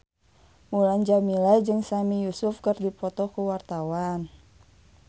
Mulan Jameela jeung Sami Yusuf keur dipoto ku wartawan